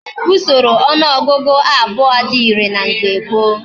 Usoro onuogugu abuo di ire na mgbe gboo